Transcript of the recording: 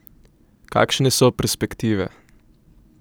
Kakšne so perspektive?